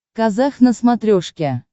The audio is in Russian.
казах на смотрешке